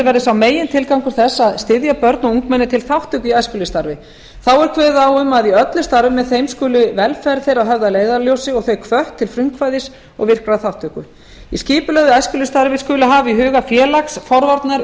verði sá megintilgangur þess að styðja börn og ungmenni til þátttöku í æskulýðsstarfi þá er kveðið á um að í öllu starfi með þeim skuli velferð þeirra höfð að leiðarljósi og þau hvött til frumkvæðis og virkrar þátttöku í skipulögðu æskulýðsstarfi skuli hafa í huga félags forvarna